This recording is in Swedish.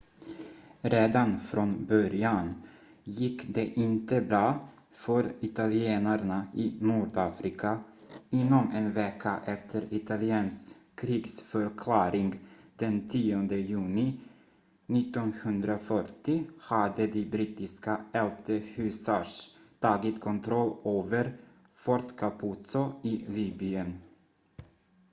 redan från början gick det inte bra för italienarna i nordafrika inom en vecka efter italiens krigsförklaring den 10 juni 1940 hade de brittiska 11th hussars tagit kontroll över fort capuzzo i libyen